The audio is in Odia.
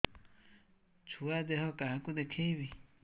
ଛୁଆ ଦେହ କାହାକୁ ଦେଖେଇବି